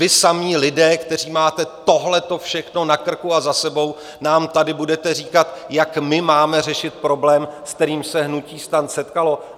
Vy samí lidé, kteří máte tohle všechno na krku a za sebou, nám tady budete říkat, jak my máme řešit problém, s kterým se hnutí STAN setkalo?